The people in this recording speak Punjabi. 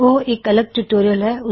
ਉਹ ਇੱਕ ਅਲਗ ਟਿਊਟੋਰਿਯਲ ਹੈ